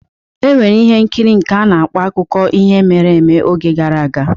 E nwere ihe nkiri nke na-akọ akụkọ ihe mere eme oge gara.